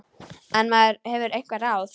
En maður hefur einhver ráð.